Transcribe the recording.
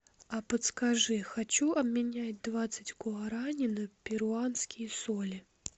а подскажи хочу обменять двадцать гуарани на перуанские соли